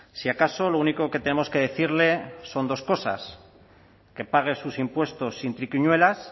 si acaso lo único que tenemos que decirle son dos cosas que pague sus impuestos sin triquiñuelas